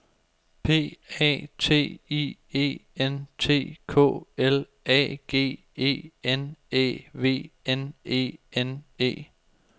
P A T I E N T K L A G E N Æ V N E N E